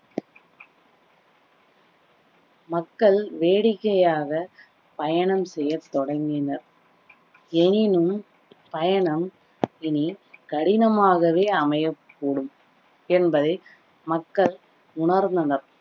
மக்கள் வேடிக்கையாக பயணம் செய்ய தொடங்கினர் எனினும் பயணம் இனி கடினமாகவே அமையக்கூடும் என்பதை மக்கள் உணர்ந்தனர்